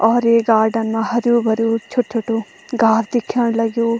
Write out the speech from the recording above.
और ये गार्डन मा हर्युं-भर्युं छोट-छोटू घास दिख्याण लग्युं।